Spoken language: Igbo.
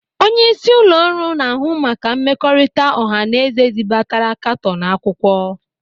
Onyeisi ụlọ ọrụ na-ahụ maka mmekọrịta ọha na eze zibatara katọnu akwụkwọ.